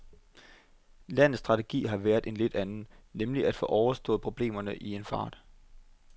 Landets strategi har været en lidt anden, nemlig at få overstået problemerne i en fart.